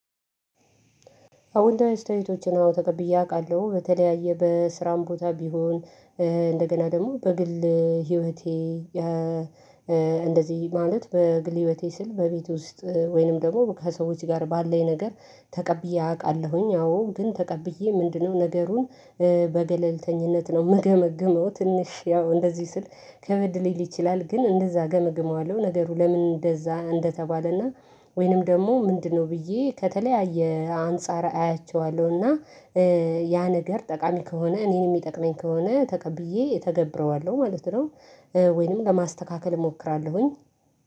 አውንታዊ አስተያየቶችን ተቀብዬ አውቃለሁ በተለያየ በስራም ቦታ ቢሆን እንደገና ደግሞ በግል ህይወቴ። እንደዚህ ማለት በግል ህይወቴ ስል በቤት ውስጥ ወይንም ደግሞ ከሰዎች ጋር ባለን ነገር ተቀብዬ አቃለሁኝ አዎ ግን ተቀብዬ ምንድነው ነገሩን? በገለልተኝነት ነው ምገመግመው ትንሽ ያው እንደዚህ ስል ከበድ ሊል ይችላል ግን እንደዛ ገመግመዋለሁ። ነገሩ ለምን እንደዛ እንደተባለና ወይንም ደግሞ ምንድነው? ብዬ ከተለያየ አንፃር አያቸዋለሁ እና ያ ነገር ጠቃሚ ከሆነ እኔን የሚጠቅመኝ ከሆነ ተቀብዬ እተገብረዋለሁ ማለት ነው። ወይንም ለማስተካከል እሞክራለሁኝ።